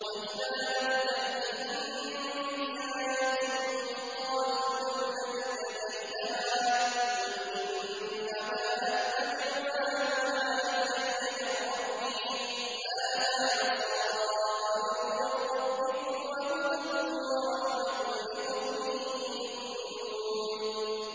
وَإِذَا لَمْ تَأْتِهِم بِآيَةٍ قَالُوا لَوْلَا اجْتَبَيْتَهَا ۚ قُلْ إِنَّمَا أَتَّبِعُ مَا يُوحَىٰ إِلَيَّ مِن رَّبِّي ۚ هَٰذَا بَصَائِرُ مِن رَّبِّكُمْ وَهُدًى وَرَحْمَةٌ لِّقَوْمٍ يُؤْمِنُونَ